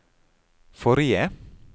forrige